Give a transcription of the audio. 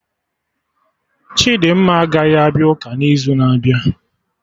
Chidimma agaghị abịa ụka n'izu na-abịa